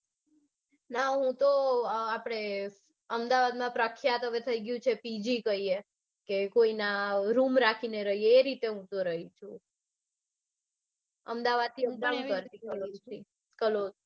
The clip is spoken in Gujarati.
ના હૂતો આપડે અમદાવાદમાં પ્રખ્યાત ગયું છે પીજી કૈયે કે room રાખીને રિયે એ રીતે હૂતો રાઈ છું. અમદાવાદથી up down કરતી કાલોલથી કાલોલ.